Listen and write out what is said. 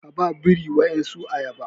Ka ba biri wadansu ayaba